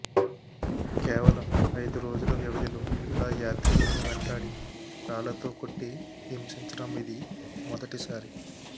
కేవలం ఐదురోజుల వ్యవధిలో ఇలా యాత్రికులను వెంటాడి రాళ్లతో కొట్టి హింసించడం ఇది మొదటిసారి